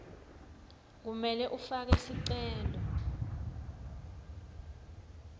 kumele ufake sicelo